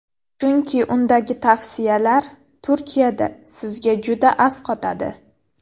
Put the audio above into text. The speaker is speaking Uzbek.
Chunki undagi tavsiyalar Turkiyada sizga juda asqotadi.